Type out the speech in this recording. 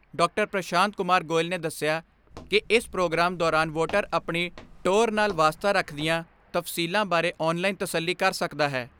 ਪ੍ਰਸ਼ਾਂਤ ਕੁਮਾਰ ਗੋਇਲ ਨੇ ਦੱਸਿਆ ਕਿ ਇਸ ਪ੍ਰੋਗਰਾਮ ਦੌਰਾਨ ਵੋਟਰ ਆਪਣੀ ਟੋਰ ਨਾਲ਼ ਵਾਸਤਾ ਰੱਖਦੀਆਂ ਤਫਸੀਲਾਂ ਬਾਰੇ ਆਨਲਾਈਨ ਤਸੱਲੀ ਕਰ ਸਕਦਾ ਹੈ।